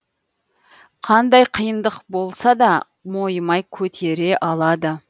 қандай қиындық болсада мойымай көтері алады